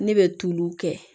Ne bɛ tuluw kɛ